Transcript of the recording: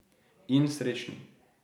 In srečni.